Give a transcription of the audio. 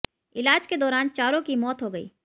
इलाज के दौरान चारों की मौत हो गई